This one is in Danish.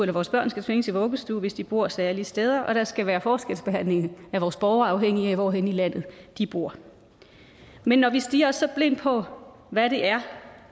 vores børn skal tvinges i vuggestue hvis de bor særlige steder og der skal være forskelsbehandling af vores borgere afhængigt af hvor henne i landet de bor men når vi stirrer os så blinde på hvad det er